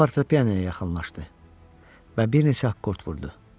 O fortepianoya yaxınlaşdı və bir neçə akkord vurdu.